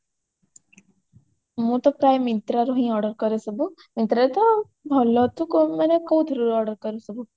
ମୁଁ ତ ପ୍ରାୟ myntra ରୁ ହିଁ order କରେ ସବୁ myntra ରେ ତ ଭଲ ତୁ ମାନେ ତୁ କୋଉଥିରୁ order କରୁ ସବୁ